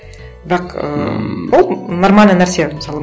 бірақ ыыы ол нормальный нәрсе мысалы